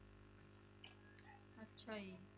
ਅੱਛਾ ਜੀ।